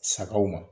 Sagaw ma